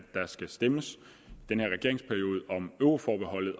der skal stemmes om euroforbeholdet